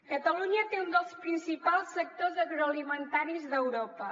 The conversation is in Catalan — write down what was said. catalunya té un dels principals sectors agroalimentaris d’europa